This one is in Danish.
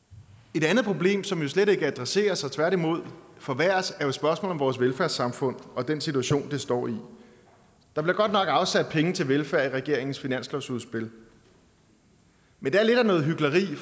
et andet problem som jo slet ikke adresseres men som tværtimod forværres er spørgsmålet om vores velfærdssamfund og den situation det står i der bliver godt nok afsat penge til velfærd i regeringens finanslovsudspil men det er lidt noget hykleri